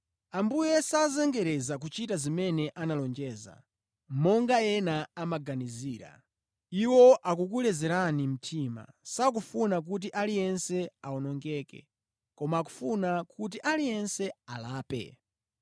Ambuye sazengereza kuchita zimene analonjeza, monga ena amaganizira. Iwo akukulezerani mtima, sakufuna kuti aliyense awonongeke, koma akufuna kuti aliyense alape.